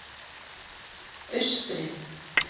Austri